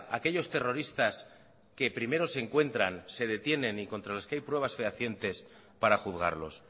aquellos terroristas que primero se encuentran se detienen y contra los que hay pruebas fehacientes para juzgarlos